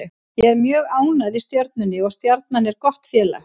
Ég er mjög ánægð í Stjörnunni og Stjarnan er gott félag.